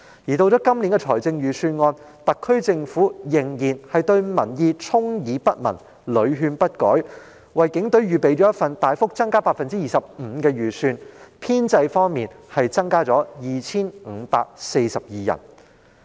及至今年的預算案，特區政府仍然對民意充耳不聞，屢勸不改，為警隊預備一份款額大幅增加 25% 的預算開支，編制方面的增幅則達到 2,542 人。